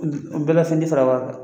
bɛɛ la fɛn tɛ fara a kan.